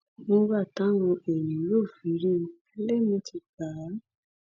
nígbà táwọn èèyàn yóò fi rí i ẹlẹmì ti gbà á